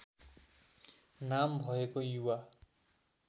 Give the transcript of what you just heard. नाम भएको युवा